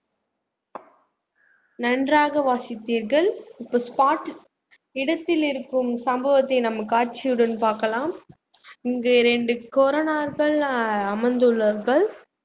நன்றாக வாசித்தீர்கள் இப்ப spot இடத்தில் இருக்கும் சம்பவத்தை நம்ம காட்சியுடன் பார்க்கலாம் இங்க இரண்டு அமர்ந்துள்ளார்கள்